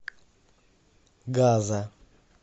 газа